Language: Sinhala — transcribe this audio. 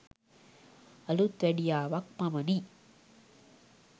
අලුත්වැඩියාවක් පමණි.